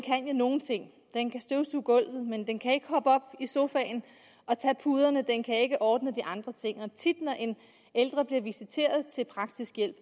nogle ting den kan støvsuge gulvet men den kan ikke hoppe op i sofaen og tage puderne den kan ikke ordne de andre ting og når en ældre bliver visiteret til praktisk hjælp